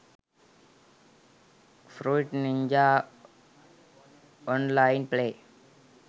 fruit ninja online play